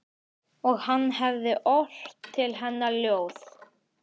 Og hann hefði ort til hennar ljóð.